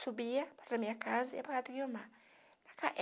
Subia passava a minha casa e ia para casa da Guiomar